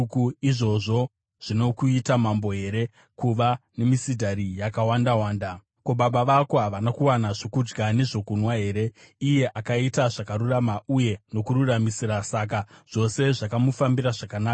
“Izvozvo zvinokuita mambo here, kuva nemisidhari yakawandawanda? Ko, baba vako havana kuwana zvokudya nezvokunwa here? Iye akaita zvakarurama uye nokururamisira, saka zvose zvakamufambira zvakanaka.